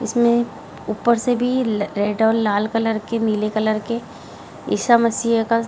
इसमें ऊपर से भी रेड और लाल कलर के नीले कलर के ईशा मसीह का --